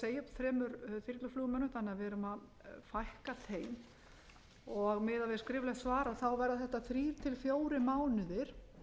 þremur þyrluflugmönnum þannig að við erum að fækka þeim og miðað við skriflegt svar verða þetta þriggja til fjórir mánuðir